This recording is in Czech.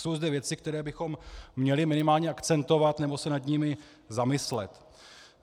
Jsou zde věci, které bychom měli minimálně akcentovat nebo se nad nimi zamyslet.